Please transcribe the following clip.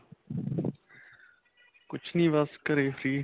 ਕੁੱਛ ਨਹੀਂ ਬੱਸ ਘਰੇ ਸੀ